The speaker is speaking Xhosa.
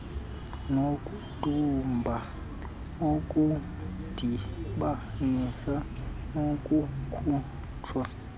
nokudumba okudibanisa nokukhutshwa